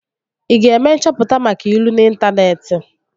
Ị ga-eme nchọpụta maka ilu n'intaneeti?